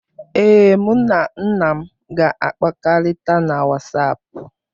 Ee, mụ na nna m ga-akpakọrịta na WhatsApp.